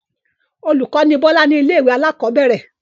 Olùkọ́ ni Bọ́lá ní ilé-ìwé alákọ̀ọ́bẹ̀rẹ̀.